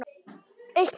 Eitt mál.